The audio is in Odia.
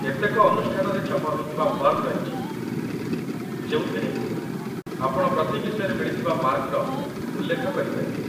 କେତେକ ଅନୁଷ୍ଠାନରେ ଛପା ହୋଇଥିବା ଫର୍ମ ରହିଛି ଯେଉଁଥିରେ ଆପଣ ପ୍ରତି ବିଷୟରେ ମିଳିଥିବା ମାର୍କର ଉଲ୍ଲେଖ କରିପାରିବେ